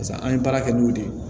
Pase an ye baara kɛ n'o de ye